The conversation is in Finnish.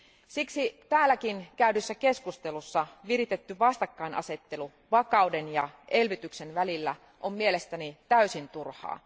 Siksi täälläkin käydyssä keskustelussa viritetty vastakkainasettelu vakauden ja elvytyksen välillä on mielestäni täysin turhaa.